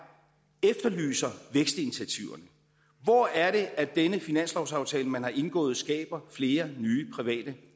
efterlyser vækstinitiativer hvor er det at denne finanslovsaftale man har indgået skaber flere nye private